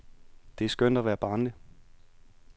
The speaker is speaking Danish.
Det er skønt at være barnlig.